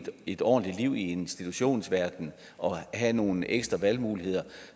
et ordentligt liv i institutionsverdenen og have nogle ekstra valgmuligheder